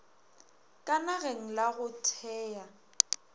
ka nageng la go thea